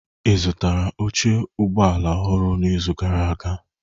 Ị zụtara oche ụgbọ ala ọhụrụ n'izu gara aga?